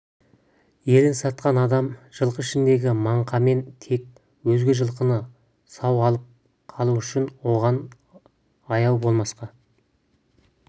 елін сатқан адам жылқы ішіндегі маңқамен тең өзге жылқыны сау алып қалу үшін оған аяу болмасқа